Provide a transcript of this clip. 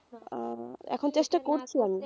আহ এখন চেষ্টা করছি আমি,